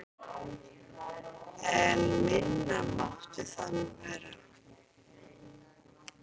En minna mátti það nú vera.